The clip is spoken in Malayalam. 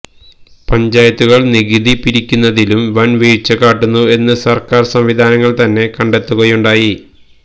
പഞ്ചായത്തുകൾ നികുതി പിരിക്കുന്നതിലും വൻ വീഴ്ച കാട്ടുന്നു എന്ന് സർക്കാർ സംവിധാനങ്ങൾ തന്നെ കണ്ടെത്തുകയുണ്ടായി